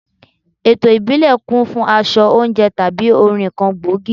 Eto ìbílẹ̀ kún fún aṣọ, oúnjẹ tàbí orin kan gbòógì.